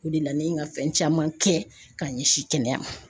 O de la ne ye n ka fɛn caman kɛ ka ɲɛsin kɛnɛya ma